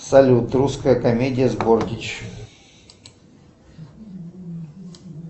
салют русская комедия с бортич